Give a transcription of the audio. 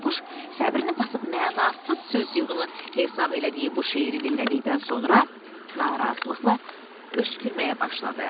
Bayquş səbrini basıb mənasız söz yığını hesab elədiyi bu şeiri dinlədikdən sonra narazılıqla öskürməyə başladı.